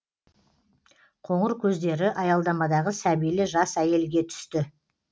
қоңыр көздері аялдамадағы сәбилі жас әйелге түсті